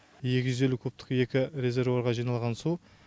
екі жүз елу кубтық екі резервуарға жиналған су